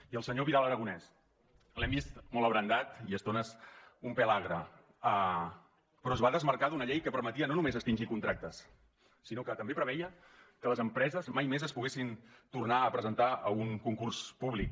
i el senyor vidal aragonés l’hem vist molt abrandat i a estones un pèl agre però es va desmarcar d’una llei que permetia no només extingir contractes sinó que també preveia que les empreses mai més es poguessin tornar a presentar a un concurs públic